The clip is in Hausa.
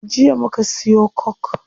Jiya muka siyo coke